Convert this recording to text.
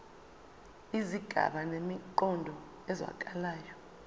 izigaba zinemiqondo ezwakalayo